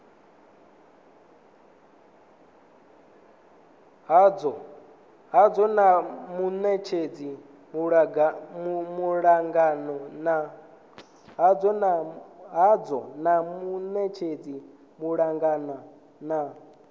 hadzo na munetshedzi malugana na